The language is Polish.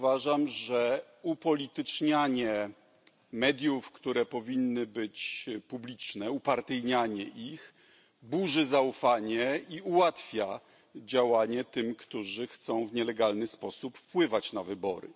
Uważam, że upolitycznianie mediów, które powinny być publiczne, upartyjnianie ich burzy zaufanie i ułatwia działanie tym, którzy chcą w nielegalny sposób wpływać na wybory.